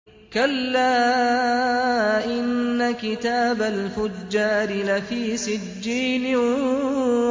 كَلَّا إِنَّ كِتَابَ الْفُجَّارِ لَفِي سِجِّينٍ